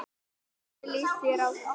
Hvernig líst þér á?